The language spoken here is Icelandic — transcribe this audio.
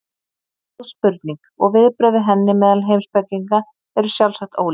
Þetta er góð spurning og viðbrögð við henni meðal heimspekinga eru sjálfsagt ólík.